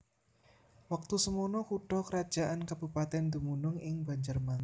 Wektu semana kutha krajan kabupatèn dumunung ing Banjarmangu